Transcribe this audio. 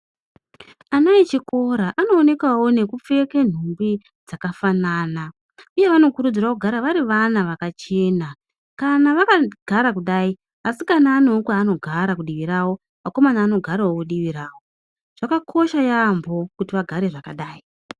Ana echikora anoonekawo nekupfeke nhumbi dzakafanana uye vanokurudzirwa kuti vari vana vakachena kana vakagara kudai, asikana anewo kwanogara kudivi ravo akomana anogara kudivi ravo, zvakakosha yeyamho kuti vagare zvakadai.